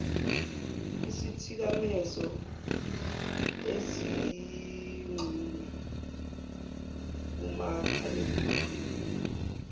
isithikamezo ezixhunywe kumakhalekhukhwini